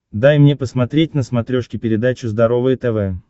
дай мне посмотреть на смотрешке передачу здоровое тв